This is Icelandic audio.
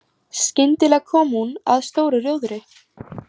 Skyndilega kom hún að stóru rjóðri.